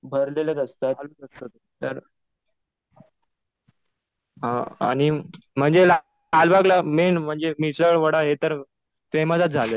भरलेलंच असतं. तर आणि म्हणजे लालबागला मेन मिसळ, वडा पाव हे तर फेमसच झाले.